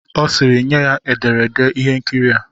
Ọ sịịrị, nye m ederede ihe nkiri a!